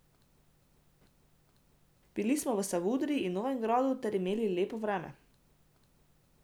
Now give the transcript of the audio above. Bili smo v Savudriji in Novigradu ter imeli lepo vreme.